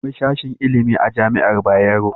Akwai sashin ilimi a Jami'ar Bayero.